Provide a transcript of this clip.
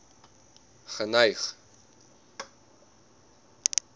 geneig